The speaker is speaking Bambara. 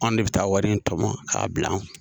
An de bɛ taa wari in tɔmɔ k'a bila an